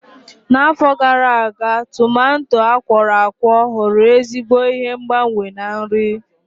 N'afọ gara aga, tumato akworakwo ghọrọ ezigbo ihe ngbanwe na nri.